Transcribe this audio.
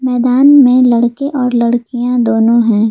मैदान में लड़के और लड़कियां दोनों हैं।